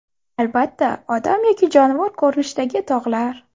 Albatta odam yoki jonivor ko‘rinishidagi tog‘lar.